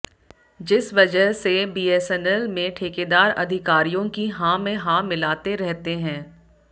जिस वजह से बीएसएनएल में ठेकेदार अधिकारियों की हां में हां मिलाते रहते हैं